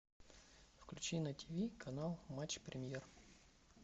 включи на тиви канал матч премьер